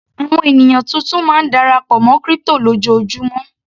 Àwọn ènìyàn tuntun máa ń darapọ̀ mọ́ crypto lójoojúmó.